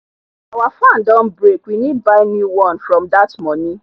our fan don break we need buy new one from that money